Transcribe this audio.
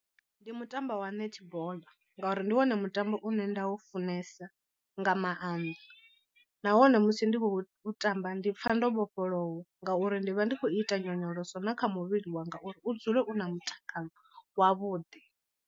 Ndi mutambo wa netball ngauri ndi wone mutambo une nda u funesa nga maanḓa, nahone musi ndi khou tamba ndi pfha ndo vhofholowa ngauri ndi vha ndi khou ita nyonyoloso na kha muvhili wanga uri u dzule u na mutakalo wavhuḓi.